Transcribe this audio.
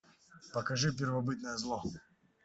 покажи первобытное зло